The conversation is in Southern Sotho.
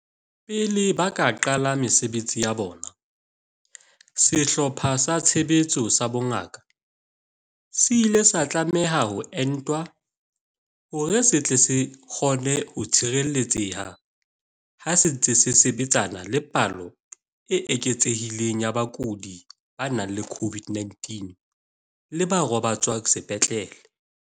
Pele ba ka qala ka mesebetsi ya bona, Sehlopha sa Tshebetso sa Bongaka se ile sa tlameha ho entwa hore se tle se kgone ho tshireletseha ha se ntse se sebetsana le palo e eketsehileng ya bakudi ba nang le COVID-19 le ba robatswang sepetlele.